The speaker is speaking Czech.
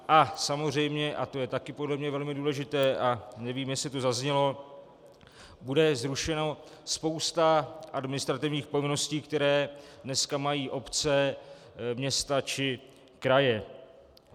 A samozřejmě, a to je také podle mě velmi důležité a nevím, jestli to zaznělo, bude zrušeno spoustu administrativních povinností, které dneska mají obce, města či kraje.